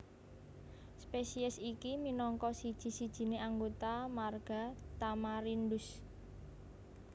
Spesies iki minangka siji sijiné anggota marga Tamarindus